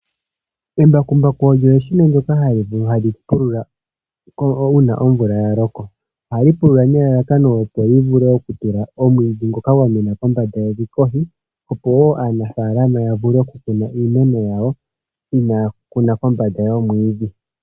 Embakumbaku olyo eshina ndyoka hali pulula uuna omvula ya loko. Ohali pulula nelalakano opo li vule oku tula omwiidhi ngoka gwa mena kombanda yevi kohi, opo wo aanafalama ya vule oku kuna iimeno yawo inaaya kuna kombanda yomwiidhi.